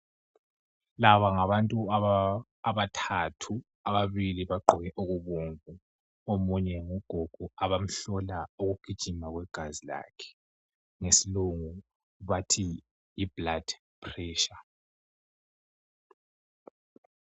Laba ngabantu abathathu, ababili bagqoke okubomvu, Omunye ngugogo abamhlola ukugijima kwegazi lakhe. Ngesilungu bathi yiblood pressure.